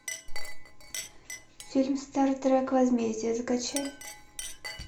фильм стартрек возмездие закачай